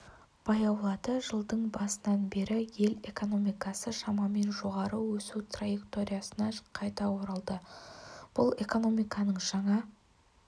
баяулады жылдың басынан бері ел экономикасы шамамен жоғары өсу траекториясына қайта оралды бұл экономиканың жаңа